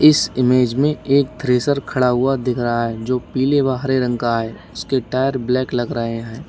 इस इमेज में एक थ्रेसर खड़ा हुआ दिख रहा है जो पीले वह हरे रंग का है उसके टायर ब्लैक लग रहे हैं।